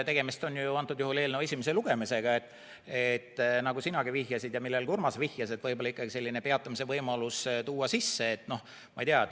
Praegu on ju tegemist eelnõu esimese lugemisega ja võib-olla võiks, nagu sina vihjasid ja nagu ka Urmas vihjas, peatamise võimaluse sisse tuua.